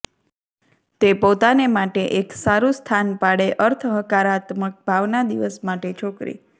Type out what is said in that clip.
તે પોતાને માટે એક સારું સ્થાન પાડે અર્થ હકારાત્મક ભાવના દિવસ માટે છોકરી